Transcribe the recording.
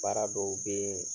Baara dɔw be ye